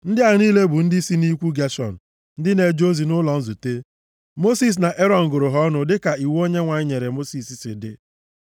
Ndị a niile bụ ndị si nʼikwu Geshọn ndị na-eje ozi nʼụlọ nzute. Mosis na Erọn gụrụ ha ọnụ dịka iwu Onyenwe anyị nyere Mosis si dị.